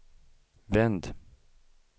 vänd